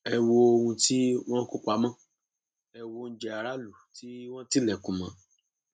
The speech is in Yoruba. ẹ wo ohun tí wọn kó pamọ ẹ wọ oúnjẹ aráàlú tí wọn tilẹkùn mọ